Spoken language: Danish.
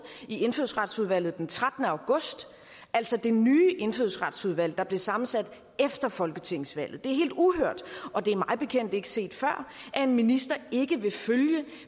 i indfødsretsudvalget den trettende august altså det nye indfødsretsudvalg der blev sammensat efter folketingsvalget det er helt uhørt og det er mig bekendt ikke set før at en minister ikke vil følge